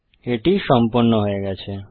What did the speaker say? এটি সম্পন্ন হয়ে গেছে